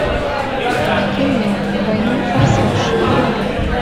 кино двойной форсаж вруби